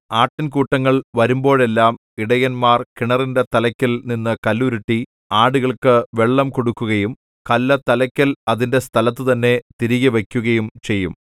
ആട്ടിൻകൂട്ടങ്ങൾ വരുമ്പോഴെല്ലാം ഇടയന്മാർ കിണറിന്റെ തലക്കൽ നിന്നു കല്ലുരുട്ടി ആടുകൾക്കു വെള്ളം കൊടുക്കുകയും കല്ല് തലക്കൽ അതിന്റെ സ്ഥലത്തുതന്നെ തിരികെ വയ്ക്കുകയും ചെയ്യും